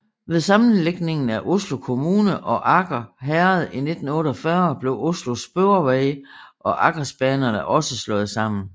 Ved sammenlægningen af Oslo kommune og Aker herred i 1948 blev Oslo Sporveier og Akersbanerne også slået sammen